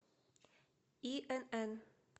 инн